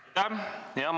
Aitäh!